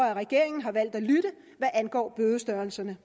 at regeringen har valgt at lytte hvad angår bødestørrelserne